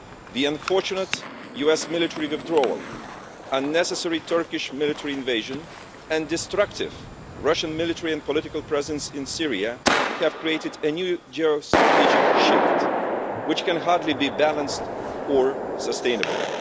The unfortunate US military withdrawal, unnecessary Turkish military invasion and destructive Russian military and political presence in Syria have created a new geo strategic shift, which can hardly be balanced or sustainable.